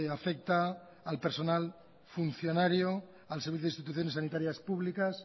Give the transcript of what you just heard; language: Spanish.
afecta al personal funcionario al servicio de instituciones sanitarias públicas